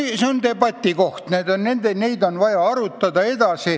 See on debatikoht, neid teemasid on vaja edasi arutada.